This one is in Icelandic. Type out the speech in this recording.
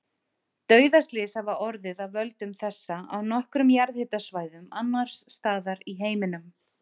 Dauðaslys hafa orðið af völdum þessa á nokkrum jarðhitasvæðum annars staðar í heiminum.